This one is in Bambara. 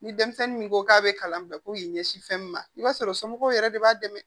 Ni denmisɛnnin min ko k'a bɛ kalan bɛɛ ko k'i ɲɛsin fɛn min ma i b'a sɔrɔ somɔgɔw yɛrɛ de b'a dɛmɛ